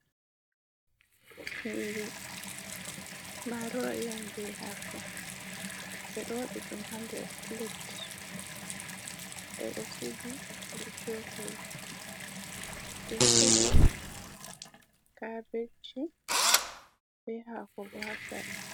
Nyiri marori on be hako, ɓe ɗo waɗi ɗum ha nder plet, ɓe ɗo sigi be cokali, ɓe he'i kabeji be hako bo ha sera.